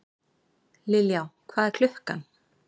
Liljá, hvað er klukkan?